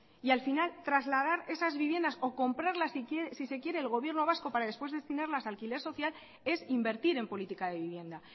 y al final trasladar esas viviendas o comprarlas si se quiere el gobierno vasco para después destinarlas a alquiler social es invertir en política de vivienda